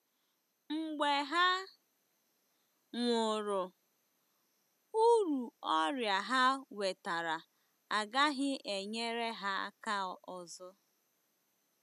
Mgbe ha nwụrụ, uru ọrịa ha nwetara agaghị enyere ha aka ọzọ.